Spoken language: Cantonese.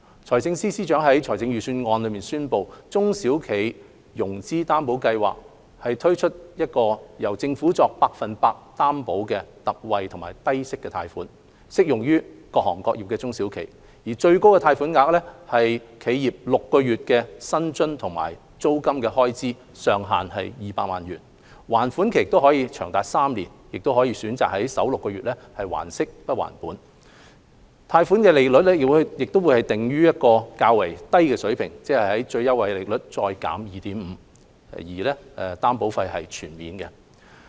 財政司司長在預算案中宣布在中小企融資擔保計劃下推出由政府作 100% 擔保的特惠低息貸款，適用於各行各業的中小企，最高貸款額為企業6個月的薪酬及租金開支，上限200萬元；還款期長達3年，可選擇首6個月還息不還本；貸款利率會訂於較低水平，即最優惠利率減 2.5%， 擔保費全免。